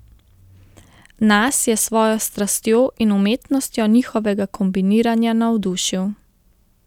Nas je s svojo strastjo in umetnostjo njihovega kombiniranja navdušil.